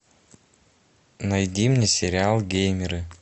найди мне сериал геймеры